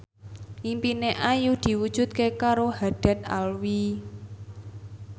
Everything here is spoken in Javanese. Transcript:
impine Ayu diwujudke karo Haddad Alwi